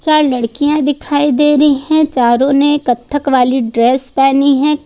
चार लड़कियां दिखाई दे रही हैं चारों ने कत्थक वाली ड्रेस पहनी है।